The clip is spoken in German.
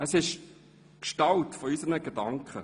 Es ist die Gestalt unserer Gedanken.